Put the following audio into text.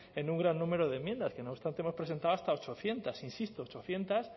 en un gran número de enmiendas que no obstante hemos presentado hasta ochocientos insisto ochocientos